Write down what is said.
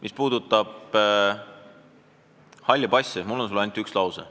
Mis puutub halli passi, siis mul on sulle öelda ainult üks lause.